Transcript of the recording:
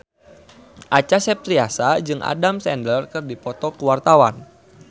Acha Septriasa jeung Adam Sandler keur dipoto ku wartawan